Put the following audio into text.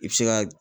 I bɛ se ka